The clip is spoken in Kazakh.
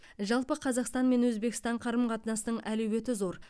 жалпы қазақстан мен өзбекстан қарым қатынасының әлеуеті зор